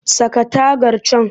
Saka tagar can!